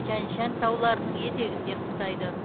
тянь шань тауларының етегінде қыстайды